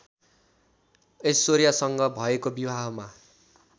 ऐश्वर्यासँग भएको विवाहमा